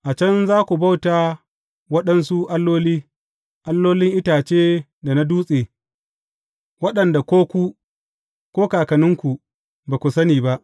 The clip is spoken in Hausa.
A can za ku bauta waɗansu alloli, allolin itace da na dutse, waɗanda ko ku, ko kakanninku, ba ku sani ba.